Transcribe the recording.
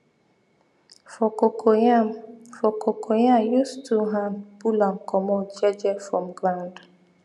for cocoyam for cocoyam use two hand pull am comot je je from ground